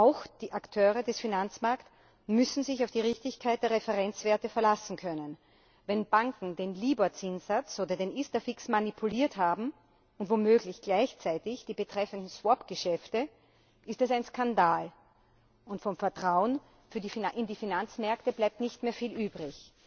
Auch die Akteure des Finanzmarkts müssen sich auf die Richtigkeit der Referenzwerte verlassen können. Wenn Banken den Libor Zinssatz oder den ISDAfix manipuliert haben und womöglich gleichzeitig die betreffenden Swap Geschäfte, ist das ein Skandal, und vom Vertrauen in die Finanzmärkte bleibt nicht mehr viel übrig.